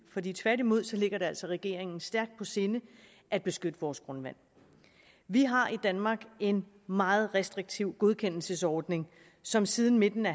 i tværtimod ligger det altså regeringen stærkt på sinde at beskytte vores grundvand vi har i danmark en meget restriktiv godkendelsesordning som siden midten af